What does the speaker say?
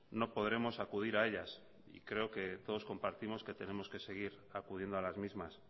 no podremos acudir a ellas y creo que todos compartimos que tenemos que seguir acudiendo a las mismas